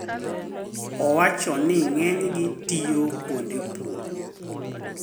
Owacho ni ng`enygi tiyo kuonde pur